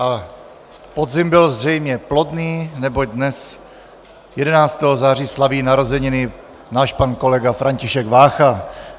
A podzim byl zřejmě plodný, neboť dnes, 11. září, slaví narozeniny náš pan kolega František Vácha.